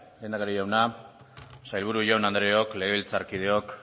lehendakari jauna sailburu jaun andreok legebiltzarkideok